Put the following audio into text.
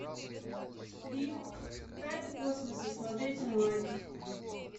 фильм тайны космоса смотреть онлайн